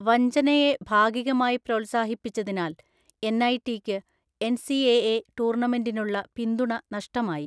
വഞ്ചനയെ ഭാഗികമായി പ്രോത്സാഹിപ്പിച്ചതിനാൽ എൻഐടിക്ക് എൻസിഎഎ ടൂർണമെന്റിനുള്ള പിന്തുണ നഷ്ടമായി.